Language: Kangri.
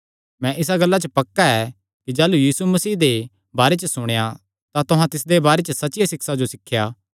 मैं इसा गल्ला च पक्का ऐ कि जाह़लू तुहां यीशु मसीह दे बारे च सुणेया तां तुहां तिसदे बारे च सच्चियां सिक्षां जो सिखया